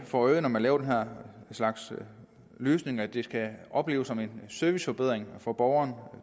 for øje når man laver den her slags løsninger at det skal opleves som en serviceforbedring for borgeren